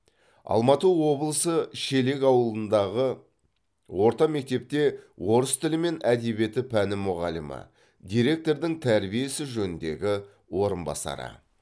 алматы облысы шелек ауылындағы орта мектепте орыс тілі мен әдебиеті пәні мұғалімі директордың тәрбие ісі жөніндегі орынбасары